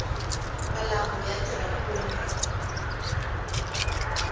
malambhu ya tirha ku voninga